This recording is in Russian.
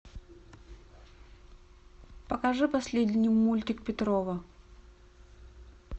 покажи последний мультик петрова